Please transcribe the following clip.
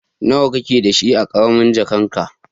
Nawa ka ke da shi a karamin jakan ka?